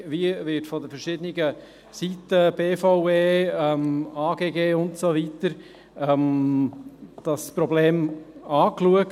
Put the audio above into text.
Wie wird von den verschiedenen Seiten – BVE, Amt für Grundstücke und Gebäude (AGG) und so weiter – das Problem angeschaut?